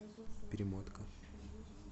перемотка